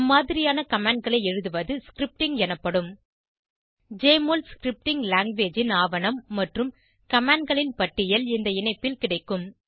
அம்மாதிரியான commandகளை எழுதுவது ஸ்கிரிப்டிங் எனப்படும் ஜெஎம்ஒஎல் ஸ்கிரிப்டிங் லாங்குவேஜ் ன் ஆவணம் மற்றும் commandகளின் பட்டியல் இந்த இணைப்பில் கிடைக்கும்